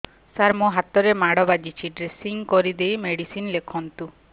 ସାର ମୋ ହାତରେ ମାଡ଼ ବାଜିଛି ଡ୍ରେସିଂ କରିଦେଇ ମେଡିସିନ ଲେଖନ୍ତୁ